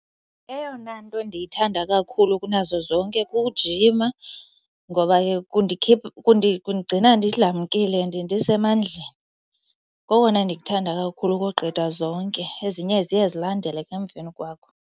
Eyona nto ndiyithanda kakhulu kunazo zonke kukujima ngoba ke kundigcina ndidlamkile, ndisemandleni. Kokona ndikuthanda kakhulu ukogqitha zonke. Ezinye ziye zilandele ke emveni kwako.